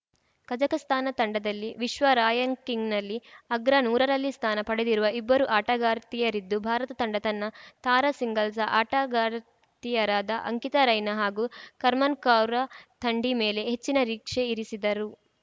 Kazakhstan ತಂಡದಲ್ಲಿ ವಿಶ್ವ ರಾಯಂಕಿಂಗ್‌ನಲ್ಲಿ ಅಗ್ರ ನೂರರಲ್ಲಿ ಸ್ಥಾನ ಪಡೆದಿರುವ ಇಬ್ಬರು ಆಟಗಾರ್ತಿಯರಿದ್ದು ಭಾರತ ತಂಡ ತನ್ನ ತಾರಾ ಸಿಂಗಲ್ಸ್‌ ಆಟಗಾರ್ತಿಯರಾದ ಅಂಕಿತಾ ರೈನಾ ಹಾಗೂ ಕರ್ಮನ್‌ ಕೌರ್‌ ಥಂಡಿ ಮೇಲೆ ಹೆಚ್ಚಿನ ರೀಕ್ಷೆ ಇರಿಸಿದ್ದರು